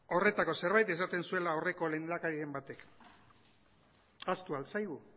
horretako zerbait esaten zuela aurreko lehendakarien batek ahaztu ahal zaigu